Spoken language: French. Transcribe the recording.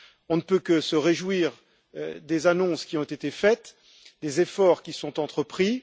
On ne peut que se réjouir des annonces qui ont été faites et des efforts qui sont entrepris.